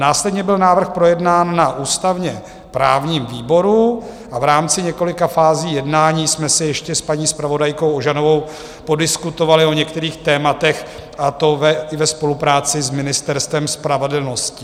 Následně byl návrh projednán na ústavně-právním výboru a v rámci několika fází jednání jsme si ještě s paní zpravodajkou Ožanovou podiskutovali o některých tématech, a to i ve spolupráci s Ministerstvem spravedlnosti.